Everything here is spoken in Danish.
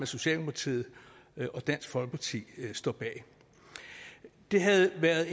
socialdemokratiet og dansk folkeparti står bag det havde været